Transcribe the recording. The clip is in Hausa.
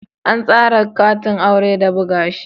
An tsara katin aure da buga shi